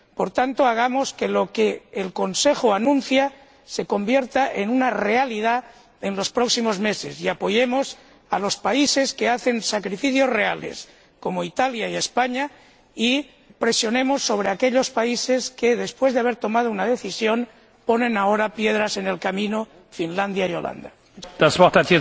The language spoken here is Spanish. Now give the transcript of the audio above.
Por tanto, hagamos que lo que el Consejo anuncia se convierta en una realidad en los próximos meses, y apoyemos a los países que hacen sacrificios reales, como Italia y España, y presionemos sobre aquellos países que, después de haber tomado una decisión, ponen ahora piedras en el camino Finlandia y los Países Bajos.